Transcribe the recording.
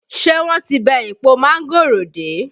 Ṣé wọ́n ti bẹ́ èpo mángòrò dé?